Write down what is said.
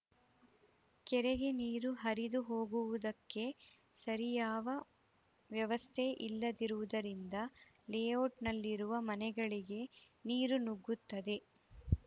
ಕೆರೆಗೆ ನೀರು ಹರಿದುಹೋಗುವುದಕ್ಕೆ ಸರಿಯಾವ ವ್ಯವಸ್ಥೆ ಇಲ್ಲದಿರುವುದರಿಂದ ಲೇಔಟ್‌ನಲ್ಲಿರುವ ಮನೆಗಳಿಗೆ ನೀರು ನುಗ್ಗುತ್ತದೆ